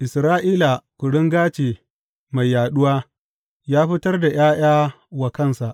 Isra’ila kuringa ce mai yaɗuwa; ya fitar da ’ya’ya wa kansa.